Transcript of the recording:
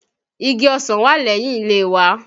Igi ọsàn wà lẹ́yìn ilé wa.